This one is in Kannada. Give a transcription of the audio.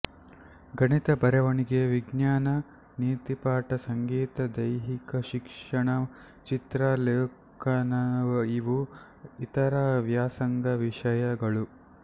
ಗಣಿತ ಬರವಣಿಗೆ ವಿಜ್ಞಾನ ನೀತಿಪಾಠ ಸಂಗೀತ ದೈಹಿಕಶಿಕ್ಷಣ ಚಿತ್ರ ಲೇಖನಇವು ಇತರ ವ್ಯಾಸಂಗ ವಿಷಯಗಳು